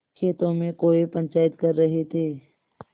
खेतों में कौए पंचायत कर रहे थे